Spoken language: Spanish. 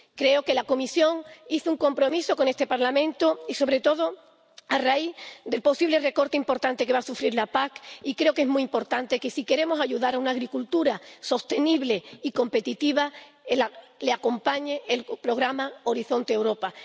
Creo que la Comisión contrajo un compromiso con este Parlamento, sobre todo a raíz del posible recorte importante que va a sufrir la PAC, y creo que es muy importante que, si queremos ayudar a una agricultura sostenible y competitiva, la acompañe el programa Horizonte Europa.